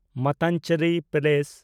Mattancherry palace (Dutch palace)